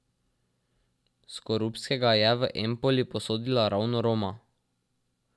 Skorupskega je v Empoli posodila ravno Roma.